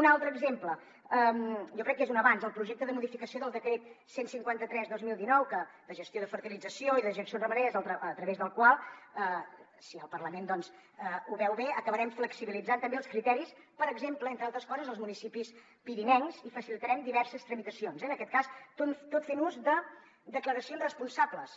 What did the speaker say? un altre exemple jo crec que és un avanç el projecte de modificació del decret cent i cinquanta tres dos mil dinou de gestió de fertilització i dejeccions ramaderes a través del qual si el parlament doncs ho veu bé acabarem flexibilitzant també els criteris per exemple entre altres coses als municipis pirinencs i facilitarem diverses tramitacions eh en aquest cas tot fent ús de declaracions responsables